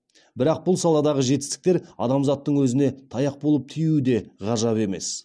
бірақ бұл саладағы жетістіктер адамзаттың өзіне таяқ болып тиюі де ғажап емес